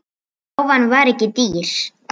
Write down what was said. Rófan var ekki dýr.